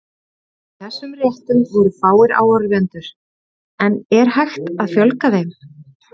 Í þessum réttum voru fáir áhorfendur, en er hægt að fjölga þeim?